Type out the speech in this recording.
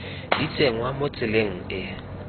di tsenngwa mo tseleng e